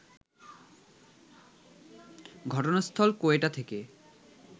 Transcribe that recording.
ঘটনাস্থল কোয়েটা থেকে